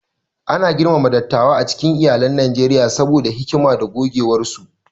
Ana girmama dattawa a cikin iyalan Najeriya saboda hikima da gogewarsu.